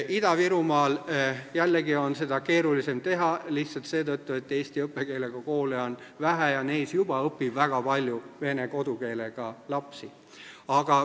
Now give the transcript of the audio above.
Ida-Virumaal, jällegi, on seda keerulisem teha – lihtsalt seetõttu, et eesti õppekeelega koole on vähe ja neis juba õpib väga palju vene kodukeelega lapsi.